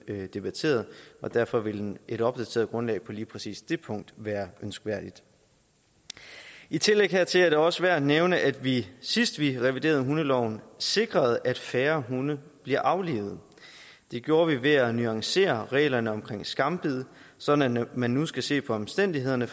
blev debatteret og derfor vil et opdateret grundlag på lige præcis det punkt være ønskværdigt i tillæg hertil er det også værd at nævne at vi sidst vi reviderede hundeloven sikrede at færre hunde bliver aflivet det gjorde vi ved at nuancere reglerne om skambid sådan at man nu skal se på omstændighederne